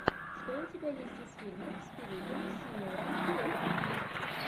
что у тебя есть из фильмов с филипом сеймуром хоффманом